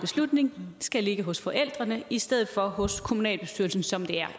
skal ligge hos forældrene i stedet for hos kommunalbestyrelsen som den